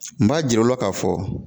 N b'a jira u la k'a fɔ